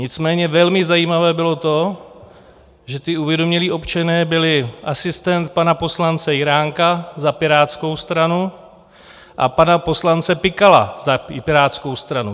Nicméně velmi zajímavé bylo to, že ti uvědomělí občané byli asistent pana poslance Jiránka za Pirátskou stranu a pana poslance Pikala za Pirátskou stranu.